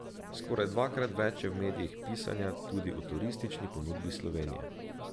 Skoraj dvakrat več je v medijih pisanja tudi o turistični ponudbi Slovenije.